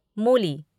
मूली